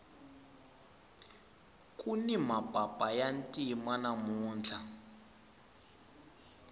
kuni mapapa ya ntima namuntlha